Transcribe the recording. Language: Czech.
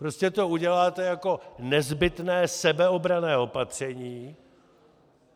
Prostě to uděláte jako nezbytné sebeobranné opatření.